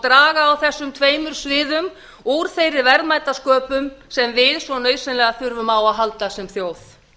draga á þessum tveimur sviðum úr þeirri verðmætasköpun sem við svo nauðsynlega þurfum á að halda sem þjóð